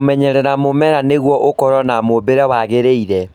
Kũmenyeria mũmera nĩguo ũkorwo na mũũmbĩre wagĩrĩire